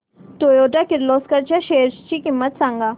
Toyota Kirloskar च्या shares ची किंमत सांग